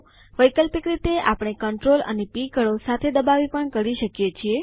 વૈકલ્પિક રીતે આપણે Ctrl અને પ કળો સાથે દબાવી પણ કરી શકીએ છીએ